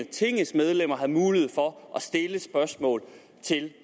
tingets medlemmer har mulighed for at stille spørgsmål til